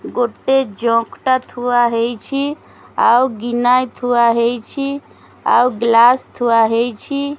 ଗୋଟେ ଜଗ୍ ଟା ଥୁଆ ହେଇଛି ଆଉ ଗିନା ଥୁଆ ହେଇଛି ଆଉ ଗ୍ଲାସ୍ ଥୁଆ ହେଇଛି।